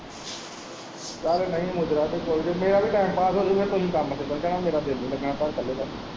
ਯਾਰ ਨਹੀ ਮੂਜ਼ਰਾ ਤੇ ਕੋਈ ਨੀ ਮੇਰੇ ਵੀ ਟੈਮਪਾਸ ਹੋ ਜੁਗਾ ਤੁਹੀਂ ਕੰਮ ਤੇ ਚੱਲ ਜਾਣਾ ਮੇਰਾ ਦਿਲ਼ ਨੀ ਲੱਗਣਾ ਘਰ ਇੱਕਲੇ ਦਾ।